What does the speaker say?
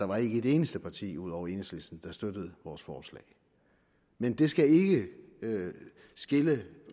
var et eneste parti ud over enhedslisten der støttede vores forslag men det skal ikke skille